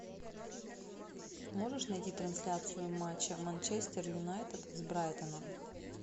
можешь найти трансляцию матча манчестер юнайтед с брайтоном